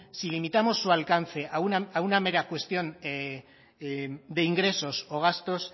si limitamos su alcance a una mera cuestión de ingresos o gastos